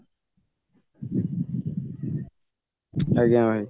ଆଜ୍ଞା ଭାଇ